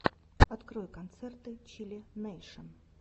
открой концерты чилл нэйшен